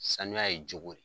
Sanuya ye cogo re ye